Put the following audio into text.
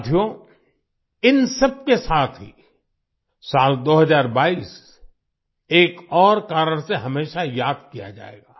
साथियो इन सबके साथ ही साल 2022 एक और कारण से हमेशा याद किया जाएगा